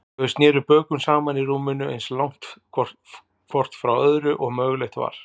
Þau sneru bökum saman í rúminu, eins langt hvort frá öðru og mögulegt var.